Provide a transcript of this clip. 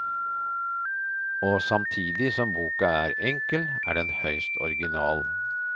Og samtidig som boka er enkel, er den høyst original.